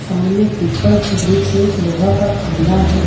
सामने पीपल की वृक्ष है एक लोहा का खम्मा है।